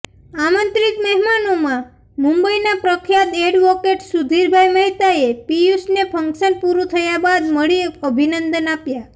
આમંત્રિત મહેમાનોમાં મુંબઇનાં પ્રખ્યાત એડવોકેટ સુધીરભાઇ મહેતાએ પિયુષને ફંક્શન પુરું થયા બાદ મળી અભિનંદન આપ્યા